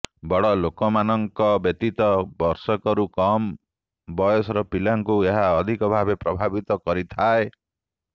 ବଡ଼ ଲୋକମାନଙ୍କ ବ୍ୟତୀତ ବର୍ଷକରୁ କମ ବୟସର ପିଲାଙ୍କୁ ଏହା ଅଧିକ ଭାବେ ପ୍ରଭାବିତ କରିଥାଏ